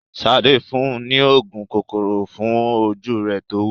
Sadé fún un ní òògùn kòkòrò fún ojú rẹ̀ tówú.